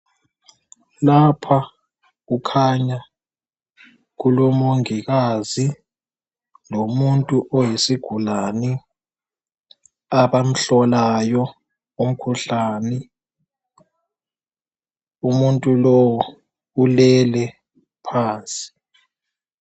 Lapha kukhanya kulomongikazi lomuntu oyisigulane abamhlolayo umkhuhlane umuntu lowu ulele phansi.